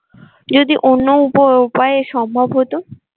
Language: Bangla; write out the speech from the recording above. যদি অন্য উপ উপায়ে সম্ভব হতো।